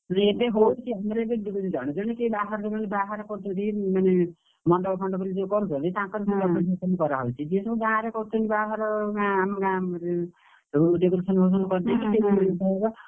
ଜଣେ ଜଣେ କେହି ବାହାରେ ରହୁଛନ୍ତି ଯୋଉମାନେ ବାହାରେ କରୁଛନ୍ତି ମାନେ, ମଣ୍ଡପ ଫଣ୍ଡପରେ ଯୋଉ କରୁଛନ୍ତି, ତାଙ୍କର ସେମିତି buffet system କରାହଉଚି, ଯେ ସବୁ ବାହାରେ କରୁଛନ୍ତି ବାହାଘର